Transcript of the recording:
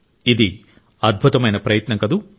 ఇది అద్భుతమైన ప్రయత్నం కదూ